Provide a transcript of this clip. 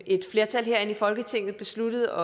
et flertal her i folketinget besluttede